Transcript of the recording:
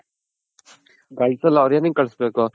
ಕಲ್ಸಲ್ಲ ಅವರ್ ಎನಿಕ್ಕೆ ಕಲಸ್ಬೇಕು